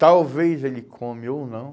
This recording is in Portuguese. Talvez ele come ou não.